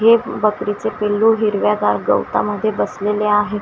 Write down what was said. हे बकरीचे पील्लू हिरव्यादार गवतामध्ये बसलेले आहेत.